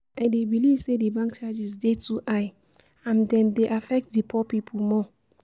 I dey believe say di bank charges dey too high, and dem dey affect di poor people more.